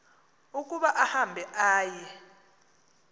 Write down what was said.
ukuba ahambe aye